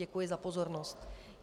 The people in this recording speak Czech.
Děkuji za pozornost.